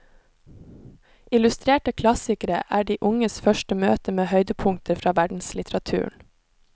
Illustrerte klassikere er de unges første møte med høydepunkter fra verdenslitteraturen.